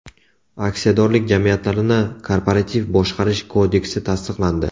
Aksiyadorlik jamiyatlarini korporativ boshqarish kodeksi tasdiqlandi.